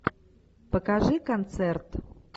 покажи концерт